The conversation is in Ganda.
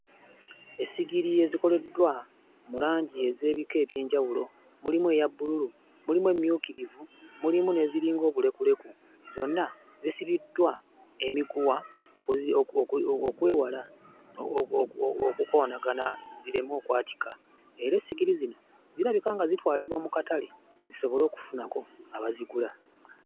Essigiri ezikoleddwa mu langi ez'ebika eby'enjawulo, mulimu eya bbululu, mulimu emmyukirivu, mulimu n'eziringa obulekuleku. Zonna zisibiddwa emiguwa okwewala okukoonagana zireme okwatika era essigiri zino zirabika nga zitwalibwa mu katale zisobole okufunako abazigula.